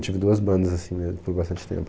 Eu tive duas bandas, assim, né? Por bastante tempo.